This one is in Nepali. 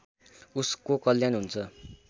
उसको कल्याण हुन्छ